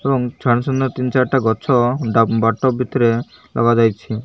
ଏବଂ ସାନ ସାନ ତିନ ଚାରଟା ଗଛ ବାଟ ଭିତରେ ଲଗାଯାଇଛି।